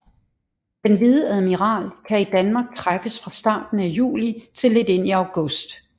Den hvide admiral kan i Danmark træffes fra starten af juli til lidt ind i august